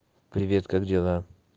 привет как дела